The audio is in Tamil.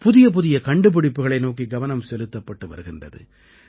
புதிய புதிய கண்டுபிடிப்புகளை நோக்கி கவனம் செலுத்தப்பட்டு வருகின்றது